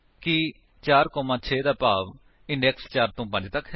ਕੀ 4 6 ਦਾ ਭਾਵ ਇੰਡੇਕਸ 4 ਤੋ 5 ਤੱਕ ਹੈ